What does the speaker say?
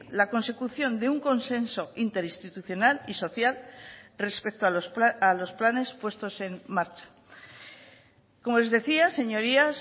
la consecución de un consenso interinstitucional y social respecto a los planes puestos en marcha como les decía señorías